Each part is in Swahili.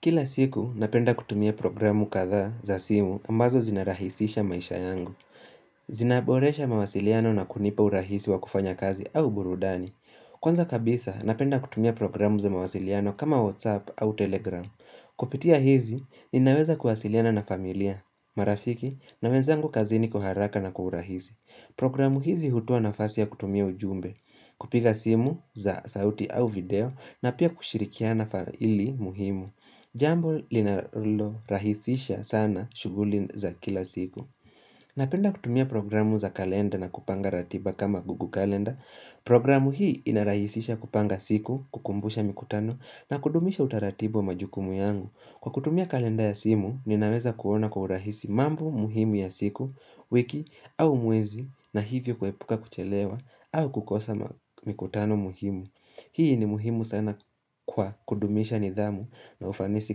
Kila siku, napenda kutumia programu kadha za simu ambazo zinarahisisha maisha yangu. Zinaboresha mawasiliano na kunipa urahisi wa kufanya kazi au burudani. Kwanza kabisa, napenda kutumia programu za mawasiliano kama WhatsApp au Telegram. Kupitia hizi, ninaweza kuwasiliana na familia, marafiki, na wenzangu kazini kwa haraka na kwa urahisi. Programu hizi hutoa nafasi ya kutumia ujumbe, kupiga simu za sauti au video, na pia kushirikiana faili muhimu. Jambo linalorahisisha sana shughuli za kila siku Napenda kutumia programu za kalenda na kupanga ratiba kama google kalenda Programu hii inarahisisha kupanga siku kukumbusha mikutano na kudumisha utaratibu majukumu yangu Kwa kutumia kalenda ya simu ninaweza kuona kwa urahisi mambo muhimu ya siku wiki au mwezi na hivyo kuepuka kuchelewa au kukosa mikutano muhimu Hii ni muhimu sana kwa kudumisha nidhamu na ufanisi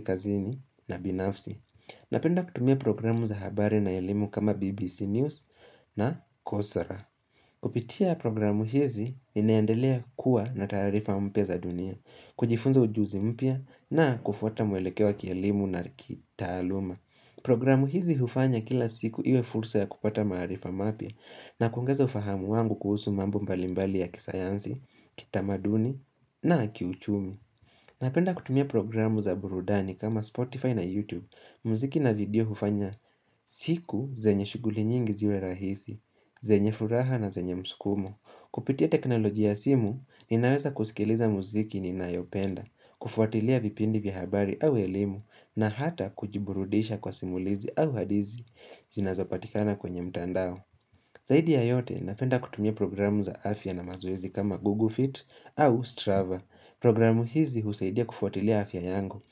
kazini na binafsi Napenda kutumia programu za habari na elimu kama BBC News na KOSRA Kupitia programu hizi, ninaendelea kuwa na taarifa mpya za dunia kujifunza ujuzi mpya na kufuata mwelekeo wa kielimu na kitaluma Programu hizi hufanya kila siku iwe fursa ya kupata maarifa mapya na kuongeza ufahamu wangu kuhusu mambo mbalimbali ya kisayansi, kitamaduni na kiuchumi Napenda kutumia programu za burudani kama Spotify na YouTube muziki na video hufanya siku zenye shughuli nyingi ziwe rahisi, zenye furaha na zenye msukumo Kupitia teknolojia ya simu, ninaweza kusikiliza muziki ninayopenda kufuatilia vipindi vya habari au elimu na hata kujiburudisha kwa simulizi au hadithi zinazopatikana kwenye mtandao Zaidi ya yote, napenda kutumia programu za afya na mazoezi kama Google Fit au Strava. Programu hizi husaidia kufuatilia afya yangu.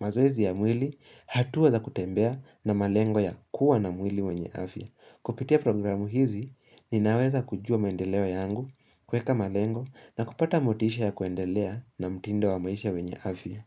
Mazoezi ya mwili hatua za kutembea na malengo ya kuwa na mwili wenye afya. Kupitia programu hizi, ninaweza kujua maendeleo yangu kuweka malengo na kupata motisha ya kuendelea na mtindo wa maisha wenye afya.